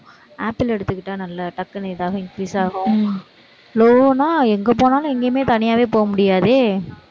apple எடுத்துக்கிட்டா, நல்லா டக்குனு ஏதாவது increase ஆகும் low ன்னா, எங்க போனாலும், எங்கேயுமே தனியாவே போக முடியாதே